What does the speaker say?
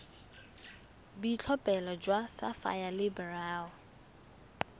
boitlhophelo jwa sapphire le beryl